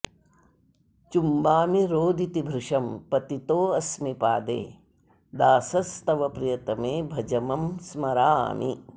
चुम्बामि रोदिति भृशं पतितो अस्मि पादे दासस् तव प्रियतमे भज मं स्मरामि